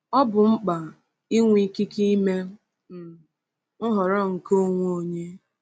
Ọ bụ mkpa ịnwe ikike ime um nhọrọ nke onwe onye.